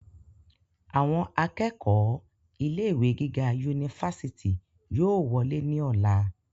àwọn akẹ́kọ̀ọ́ ilé ìwé gíga unifásitì yóò wolé ní ọ̀la